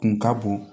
Kun ka bon